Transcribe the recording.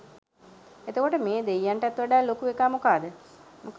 එතකොට මේ දෙයියන්ටත් වඩා ලොකු එකා මොකද